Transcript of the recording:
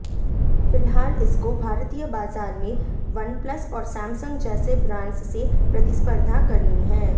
फिलहाल इसको भारतीय बाजार में वनप्लस और सैंमसंग जैसे ब्रांड्स से प्रतिस्पर्धा करनी है